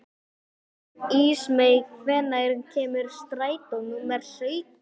Ísmey, hvenær kemur strætó númer sautján?